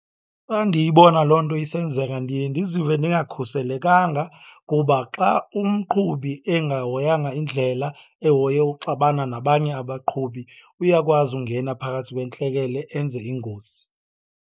Xa ndiyibona loo nto isenzeka ndiye ndizive ndingakhuselekanga kuba xa umqhubi engahoyanga indlela, ehoye uxabana nabanye abaqhubi, uyakwazi ungena phakathi kwentleke enze ingozi.